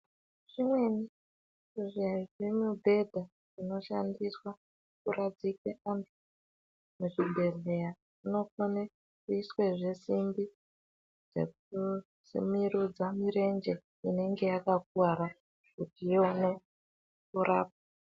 Zvimweni zvezvimibhedha zvinoshandiswa kurapire vantu muzvibhedhleya, zvinokone kuiswe zvesimbi, zvinosimudze mirenje inenge yakakuwara ,kuti ione kurapwa.